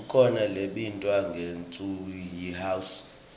kukhona lebitwa ngekutsi yihouse